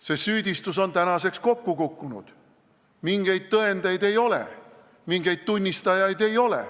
See süüdistus on tänaseks kokku kukkunud, mingeid tõendeid ei ole, mingeid tunnistajaid ei ole.